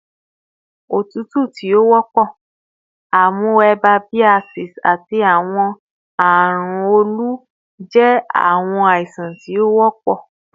otutu ti o wọpọ, amoebiasis, ati awọn arun olu jẹ awọn aisan ti o wọpọ